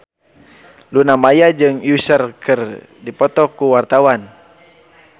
Luna Maya jeung Usher keur dipoto ku wartawan